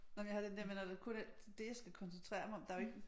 Nåh men jeg har den der med når der det jeg skal koncentrere mig om der jo ikke